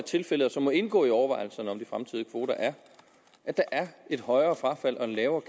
tilfældet og som må indgå i overvejelserne om de fremtidige kvoter er at der er et højere frafald og en lavere